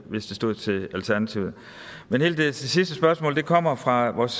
hvis det stod til alternativet men det sidste spørgsmål kommer fra vores